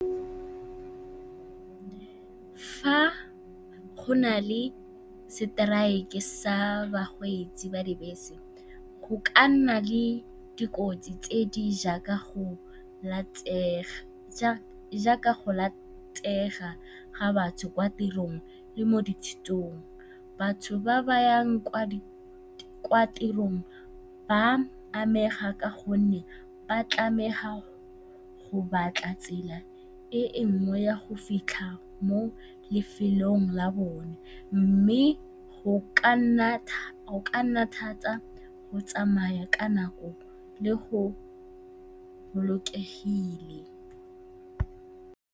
Fa go na le seteraeke sa bakgweetsi ba dibese go ka nna le dikotsi tse di jaaka go latega ga batho kwa tirong le mo dithutong. Batho ba ba yang kwa tirong ba a amega ka gonne ba tlamega go batla tsela e nngwe ya go fitlha mo lefelong la bone mme go ka nna thata go tsamaya ka nako le go bolokega.